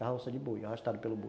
Carroça de boi, arrastado pelo boi